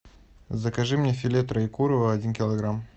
закажи мне филе троекурово один килограмм